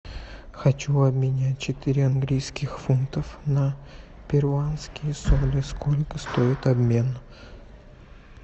хочу обменять четыре английских фунтов на перуанские соли сколько стоит обмен